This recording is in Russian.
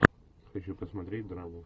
хочу посмотреть драму